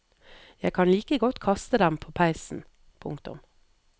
Jeg kan like godt kaste dem på peisen. punktum